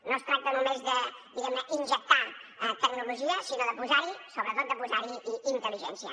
no es tracta només de diguem injectar tecnologia sinó de posa hi sobretot de posar hi intel·ligència